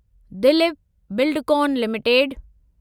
Dilip Buildcon limited